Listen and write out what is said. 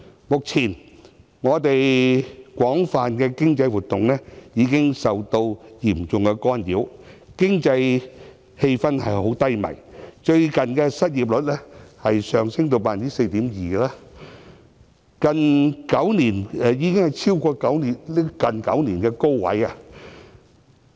目前，我們廣泛的經濟活動，已經受到嚴重干擾，經濟氣氛低迷，現時失業率上升至 4.2%， 處於最近9年的高位。